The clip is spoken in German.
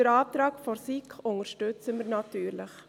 Den Antrag der SiK unterstützen wir natürlich.